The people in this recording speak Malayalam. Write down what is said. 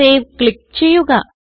സേവ് ക്ലിക്ക് ചെയ്യുക